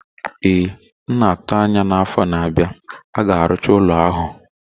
Ee, na-atụ anya na afọ na-abịa, a ga-arụcha ụlọ ahụ